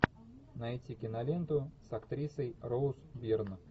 найти киноленту с актрисой роуз бирн